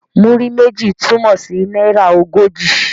Múrí méjì' túmọ̀ sí náírà ogójì.